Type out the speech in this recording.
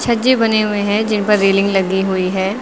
छज्जे बने हुए हैं जिन पर रेलिंग लगी हुई हैं।